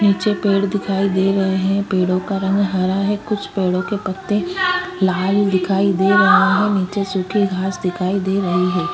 नीचे पेड़ दिखाई दे रहे है पेड़ो का रंग हरा है कुछ पेड़ो के पत्ते लाल दिखाई दे रहे है नीचे सुखी घास दिखाई दे रही है।